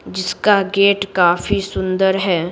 जिसका गेट काफी सुंदर है।